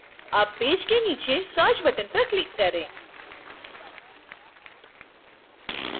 अब पेज के नीचे search button पर click करें